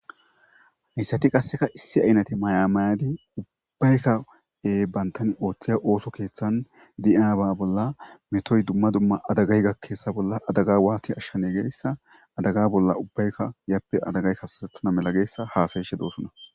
Haysati qaseka issi aynate maya mayidi ubbayka banta oothiya ootho keethan metoy duma duma adagay gakena mala adaga wati ashame gizaysa adaga bolla ubbayka yape adagay kasatetonta mala hassayishe de'osona